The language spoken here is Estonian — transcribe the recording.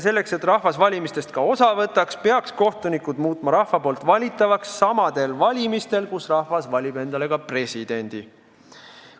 Selleks et rahvas valimistest ka osa võtaks, peaks rahvas saama kohtunikke valida samadel valimistel, kus rahvas valib endale ka presidendi.